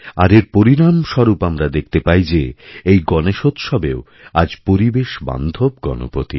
আর এর পরিণামস্বরূপ আমরা দেখতে পাই যে এই গনেশোৎসবেও আজ পরিবেশবান্ধবগণপতি